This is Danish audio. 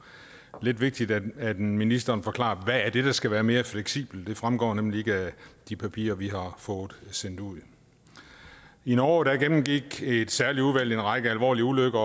lidt vigtigt at ministeren forklarer hvad det er der skal være mere fleksibelt for det fremgår nemlig ikke af de papirer vi har fået sendt ud i norge gennemgik et særligt udvalg en række alvorlige ulykker